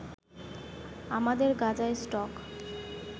আমাদের গাঁজার স্টক